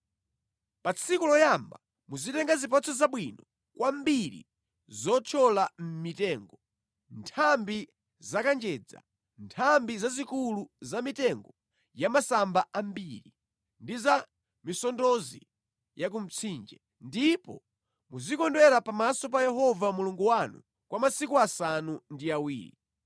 Pa tsiku loyamba muzitenga zipatso zabwino kwambiri zothyola mʼmitengo, nthambi za kanjedza, nthambi zazikulu za mitengo ya masamba ambiri, ndi za misondozi yakumtsinje, ndipo muzikondwera pamaso pa Yehova Mulungu wanu kwa masiku asanu ndi awiri.